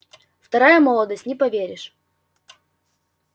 вторая молодость не поверишь